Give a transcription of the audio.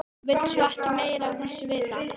Vill svo ekki meira af þessu vita.